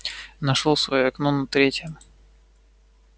нашёл своё окно на третьем